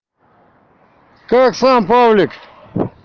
как сам павлик